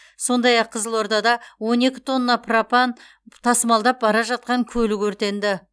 сондай ақ қызылордада он екі тонна пропан тасымалдап бара жатқан көлік өртенді